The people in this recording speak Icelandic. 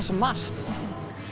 svo margt